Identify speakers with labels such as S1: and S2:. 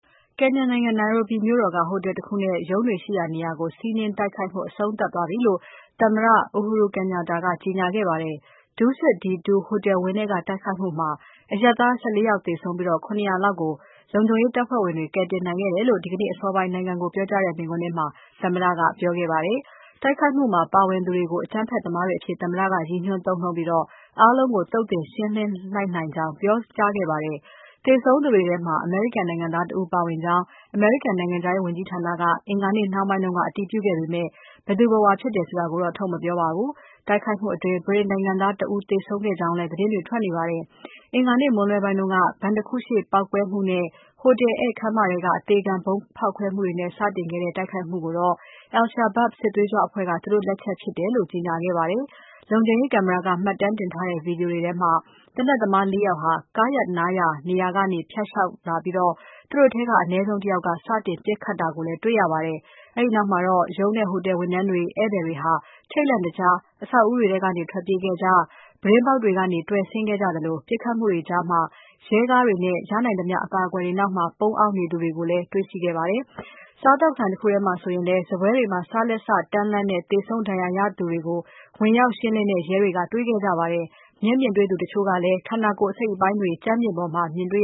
S1: ကင်ညာနိုင်ငံ နိုင်ရူဘီမြို့တော်က ဟိုတယ်တခုနဲ့ ရုံးတွေရှိရာနေရာကို စီးနင်းတိုက်ခိုက်မှု အဆုံးသတ်ပြီဖြစ်ကြောင်း သမ္မတ Uhuru Kenyatta ကကြေညာလိုက်ပါတယ်။ DusitD2 ဟိုတယ်ဝန်းထဲက တိုက်ခိုက်မှုမှာ အရပ်သား ၁၄ ဦး သေဆုံးပြီး၊ ၇၀၀ လောက်ကို လုံခြုံရေးတပ်ဖဲ့ွဝင်တွေ ကယ်တင်နိုင်ခဲ့ကြောင်းလည်း ဒီနေ့အစောပိုင်း နိုင်ငံကို ပြောကြားတဲ့ မိန့်ခွန်းမှာ သမ္မတက ပြောဆိုခဲ့တာပါ။ တိုက်ခိုက်မှုမှာ ပါဝင်သူတွေကို အကြမ်းဖက်သမားတွေအဖြစ် သမ္မတက ရည်ညွှန်းသုံးနှုန်းပြီး၊ အားလုံးကို သုတ်သင်ရှင်းလင်းလိုက်ကြောင်း ပြောဆိုခဲ့ပါတယ်။ သေဆုံးသူတွေထဲမှာ အမေရိကန်နိုင်ငံသားတဦး ပါဝင်ကြောင်း အမေရိကန် နိုင်ငံခြားရေး ဝန်ကြီးဌာနကလည်း မနေ့နှောင်းပိုင်းမှာ အတည်ပြုခဲ့ပေမဲ့ ဘယ်သူဘယ်ဝါဆိုတာကိုတော့ ထုတ်မပြောပါဘူး။ တိုက်ခိုက်မှုအတွင်း ဗြိတိန်နိုင်ငံသားတဦး သေဆုံးေကြောင်းလည်း သတင်းတွေ ထွက်ပေါ်နေပါတယ်။ မနေ့မွန်းလွဲပိုင်းက ဘဏ်တခုရှေ့က ပေါက်ကွဲမှုနဲ့ ဟိုတယ်ဧည့်ခန်းမထဲက အသေခံဗုံးဖောက်ခွဲမှုတွေနဲ့ စတင်ခဲ့တဲ့ တိုက်ခိုက်မှုကိုတော့ al-Shabab စစ်သွေးကြွအဖွဲ့က သူတို့လက်ချက်အဖြစ် ကြေညာခဲ့တာပါ။ လုံခြုံရေး ကင်မရာက မှတ်တမ်းတင်ထားတဲ့ ဗွီဒီယိုမှာတော့ သေနတ်သမား ၄ ဦးကို ကားရပ်နားရာ နေရာကနေ ဖြတ်လျှောက်လာပြီး၊ သူတို့ထဲက အနည်းဆုံး တယောက်က စတင်ပစ်ခတ်တာကိုလည်း တွေ့ရပါတယ်။ ဒီနောက်မှာတော့ ရုံးနဲ့ဟိုတယ် ဝန်ထမ်းတွေ၊ ဧည့်သည်တွေဟာလည်း ထိတ်လန့်တကြား အဆောက်အဦးတွေထဲက ထွက်ပြေးကြသလို၊ ပြတင်းပေါက်တွေကနေ တွယ်ဆင်းသူတွေ ရှိသလို၊ ပစ်ခတ်မှုတွေကြားမှာ ရဲကားတွေနဲ့ ရနိုင်သမျှ အကာအကွယ်တွေနောက် ပုန်းအောင်းသူတွေလည်း ရှိခဲ့ပါတယ်။ စားသောက်ဆိုင် တခုထဲမှာ ဆိုရင်လည်း စားပွဲတွေမှာ စားလက်စတန်းလန်းနဲ့ သေဆုံးဒဏ်ရာရသူတွေကိုလည်း ဝင်ရောက်ရှင်းလင်းတဲ့ ရဲတွေက တွေ့ခဲ့ကြရတာပါ။ မျက်မြင်တွေ့သူ တချို့လည်း ကိုယ်ခန္ဓာ အစိတ်အပိုင်းတွေကို ကြမ်းပေါ်မှာ တွေ့